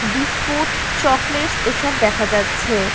Biscuit chocolates এসব দেখা যাচ্ছে-এ।